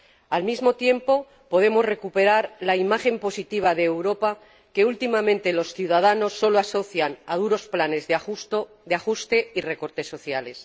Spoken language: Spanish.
Al mismo tiempo, podemos recuperar la imagen positiva de Europa, que últimamente los ciudadanos sólo asocian con duros planes de ajuste y recortes sociales.